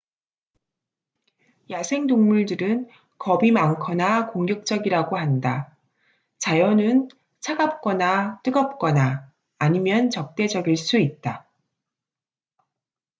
야생동물들은 겁이 많거나 공격적이라고 한다 자연은 차갑거나 뜨겁거나 아니면 적대적일 수 있다